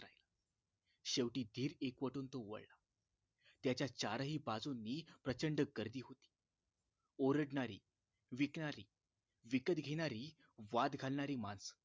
शेवटी धीर एकवटून तो वळला त्याच्या चारही बाजूनी प्रचंड गर्दी होती ओरडणारी विकणारी विकत घेणारी वाद घालणारी माणसं